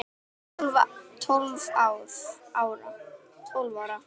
Tólf ára.